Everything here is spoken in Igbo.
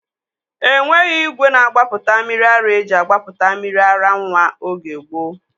Enweghị igwe na-agbapụta mmiri ara eji agbapụta mmiri ara nwa oge gboo